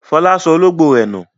Fọlá sọ olóńgbò rẹ̀ nù.